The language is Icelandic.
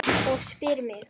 Og spyr mig